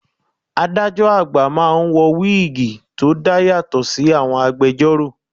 Adájọ́ àgbà máa ń wọ wíìgì tí ó dá yàtọ̀ sí àwọn agbẹjórò.